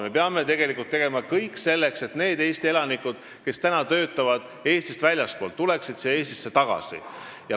Me peame tegema kõik selleks, et need Eesti elanikud, kes töötavad riigist väljaspool, tuleksid siia tagasi.